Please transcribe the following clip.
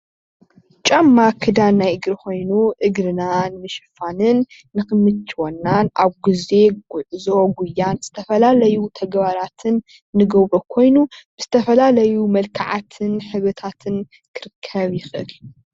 ጫማ ክዳን ናይ እግሪ ኾዬኑ፤ እግርና ንምሸፋንን ንኽምችወናን ኣብ ግዜ ጉዖን ጉዕዞን ዝተፈላለዩ ተግባራትን እንገብሮ ኾይኑ ዝተፈላለዩ መልክዓትን ሕብርታትን ክርከብ ይከኣል እዩ።